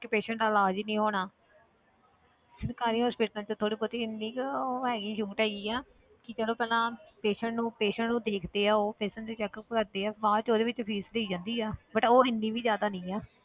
ਕਿ patient ਦਾ ਇਲਾਜ਼ ਹੀ ਨੀ ਹੋਣਾ ਸਰਕਾਰੀ hospitals 'ਚ ਥੋੜ੍ਹੀ ਬਹੁਤੀ ਇੰਨੀ ਕੁ ਉਹ ਹੈਗੀ ਛੋਟ ਹੈਗੀ ਆ ਕਿ ਜਦੋਂ ਪਹਿਲਾਂ patient ਨੂੰ patient ਨੂੰ ਦੇਖਦੇ ਉਹ patient ਦੇ checkup ਕਰਦੇ ਆ ਬਾਅਦ 'ਚ ਉਹਦੇ ਵਿੱਚ fees ਦੇਈ ਜਾਂਦੀ ਆ but ਉਹ ਇੰਨੀ ਵੀ ਜ਼ਿਆਦਾ ਨੀ ਹੈ।